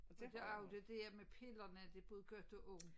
Og det er jo det dér med pillerne det både godt og ondt